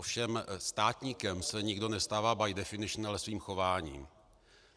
Ovšem státníkem se nikdo nestává by definition, ale svým chováním.